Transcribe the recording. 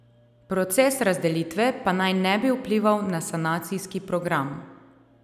Proces razdelitve pa naj ne bi vplival na sanacijski program.